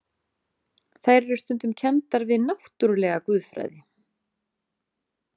Þær eru stundum kenndar við náttúrulega guðfræði.